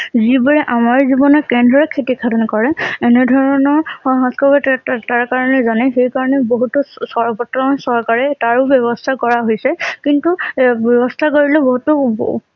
যিবোৰে আমাৰ জীৱনত কেনেদৰে ক্ষতি সাধন কৰে এনে ধৰণৰ তাৰতাৰ তাৰ কাৰণে জানে সেইকাৰণে বহুতো চৰবৰ্তমান চৰকাৰে তাৰো ব্যবস্থা কৰা হৈছে কিন্তু ব্যবস্থা কৰিলে বহুতো